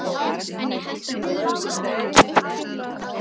En ég held að Guðrún systir mín geri það enn.